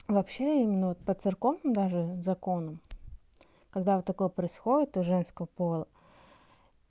вообще именно вот по церковным даже законам когда вот такое происходит у женского пола